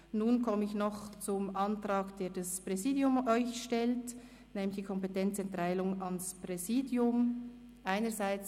Nun komme ich noch zum Antrag, den das Präsidium Ihnen stellt, nämlich der Kompetenzerteilung ans Präsidium einerseits.